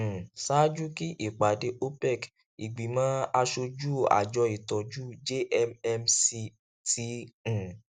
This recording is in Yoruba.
um ṣaaju kí ìpàdé opec ìgbìmọ aṣojú àjọ ìtọjú jmmc ti um